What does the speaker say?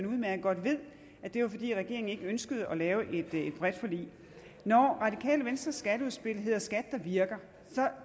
udmærket godt ved at det var fordi regeringen ikke ønskede at lave et bredt forlig når radikale venstres skatteudspil hedder skat der virker